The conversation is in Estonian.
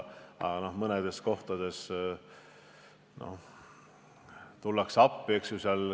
Aga mõnedes kohtades tullakse ka niisama appi.